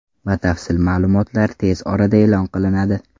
Batafsil ma’lumotlar tez orada e’lon qilinadi.